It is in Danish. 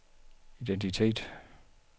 identitet